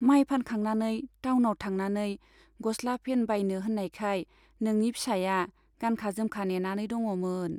माय फानखांनानै टावनाव थांनानै गस्ला पेन बायनो होन्नायखाय नोंनि फिसाया गानखा जोमखा नेनानै दङ'मोन।